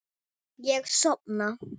Ég sofna.